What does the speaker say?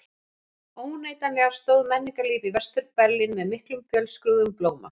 Óneitanlega stóð menningarlíf í Vestur-Berlín með miklum og fjölskrúðugum blóma.